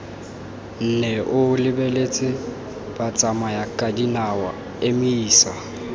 nne o lebeletse batsamayakadinao emisa